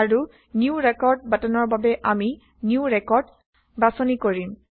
আৰু new record বাটনৰ বাবে আমি নিউ ৰেকৰ্ড বাচনি কৰিম